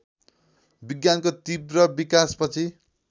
विज्ञानको तीव्र विकासपछि